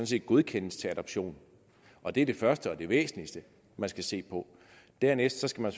set godkendes til adoption og det er det første og det væsentligste man skal se på dernæst skal man